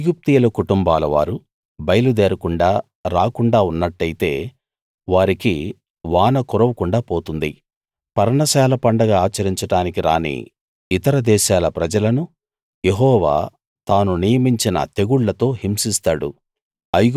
ఐగుప్తీయుల కుటుంబాలవారు బయలు దేరకుండా రాకుండా ఉన్నట్టయితే వారికి వాన కురవకుండా పోతుంది పర్ణశాల పండగ ఆచరించడానికి రాని ఇతర దేశాల ప్రజలను యెహోవా తాను నియమించిన తెగుళ్ళతో హింసిస్తాడు